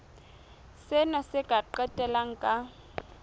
sena se ka qetella ka